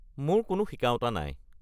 মোৰ কোনো শিকাওঁতা নাই।